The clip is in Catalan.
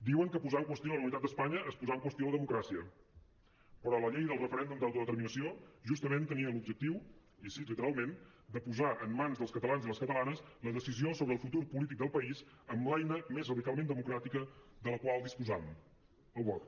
diuen que posar en qüestió la unitat d’espanya és posar en qüestió la democràcia però la llei del referèndum d’autodeterminació justament tenia l’objectiu i ho cit literalment de posar en mans dels catalans i les catalanes la decisió sobre el futur polític del país amb l’eina més radicalment democràtica de la qual disposam el vot